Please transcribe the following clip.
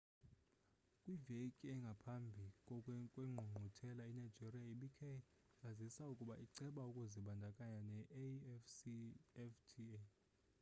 kwiveki engaphambi kwengqungquthela inigeria ibikhe yazisa ukuba iceba ukuzibandakanya ne-afcfta